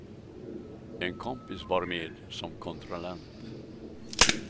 En kompis var med som kontrollant.